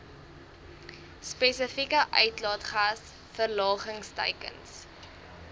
spesifieke uitlaatgas verlagingsteikens